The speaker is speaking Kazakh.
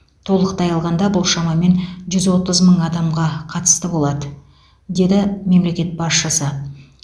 толықтай алғанда бұл шамамен жүз отыз мың адамға қатысты болады деді мемлекет басшысы